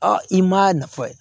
i m'a nafa ye